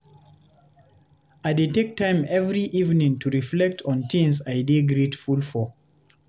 I dey take time every evening to reflect on things I dey grateful for.